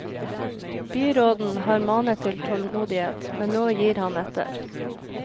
Byråden har manet til tålmodighet, men nå gir han etter.